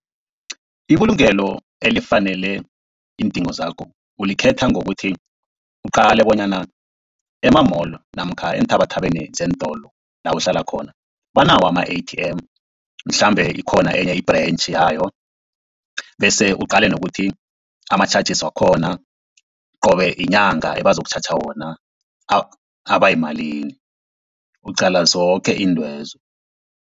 Ibulungelo elifanele iindingo zakho ulikhetha ngokuthi, uqale bonyana ema-mall namkha enthabathabeni zeentolo la uhlala khona banawo ama-A_T_M mhlambe ikhona enye i-branch yayo. Bese uqale nokuthi ama-charges wakhona qobe inyanga ebazokutjhatjha wona aba yimalini, uqala zoke izintwezo.